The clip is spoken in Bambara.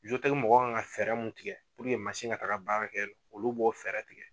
mɔgɔw kan ka fɛɛrɛ mun tigɛ mansin ka taga baara kɛ olu b'o fɛɛrɛ tigɛ.